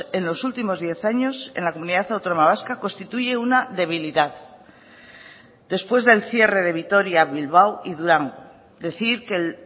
en los últimos diez años en la comunidad autónoma vasca constituye una debilidad después del cierre de vitoria bilbao y durango decir que el